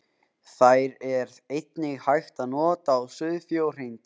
Þær er einnig hægt að nota á sauðfé og hreindýr.